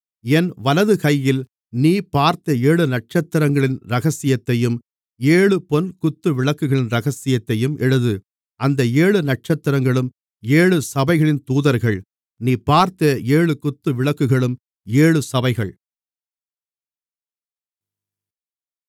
என் வலது கையில் நீ பார்த்த ஏழு நட்சத்திரங்களின் இரகசியத்தையும் ஏழு பொன் குத்துவிளக்குகளின் இரகசியத்தையும் எழுது அந்த ஏழு நட்சத்திரங்களும் ஏழு சபைகளின் தூதர்கள் நீ பார்த்த ஏழு குத்துவிளக்குகளும் ஏழு சபைகள்